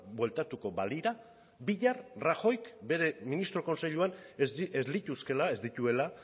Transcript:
bueltatuko balira bihar rajoyk bere ministro kontseiluan ez lituzkeela ez dituela